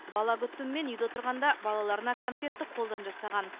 бала күтімімен үйде отырғанда балаларына конфетты қолдан жасаған